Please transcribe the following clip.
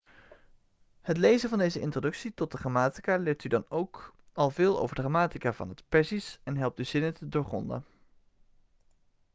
het lezen van deze introductie tot de grammatica leert u dan ook al veel over de grammatica van het perzisch en helpt u zinnen te doorgronden